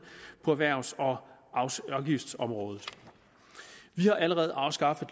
på erhvervs og afgiftsområdet vi har allerede afskaffet